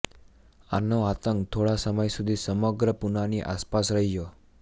આનો આતંક થોડા સમય સુધી સમગ્ર પુનાની આસપાસ રહ્યો